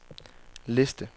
liste